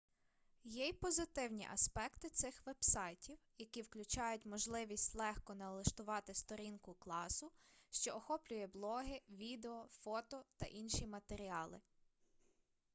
є й позитивні аспекти цих вебсайтів які включають можливість легко налаштувати сторінку класу що охоплює блоги відео фото та інші матеріали